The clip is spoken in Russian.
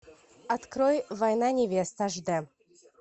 открой война невест аш д